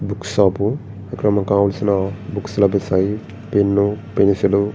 Book shop ఇక్కడ మనకి కావాల్సిన బుక్స్ లభిస్తాయి. Pen pencil --